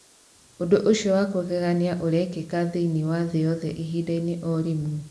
Ũndũ ũcio wa kũgegania ũrekĩka thĩinĩ wa thĩ yothe ihinda-inĩ o rĩmwe.